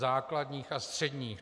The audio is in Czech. Základních a středních.